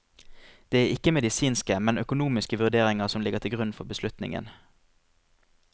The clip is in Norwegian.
Det er ikke medisinske, men økonomiske vurderinger som ligger til grunn for beslutningen.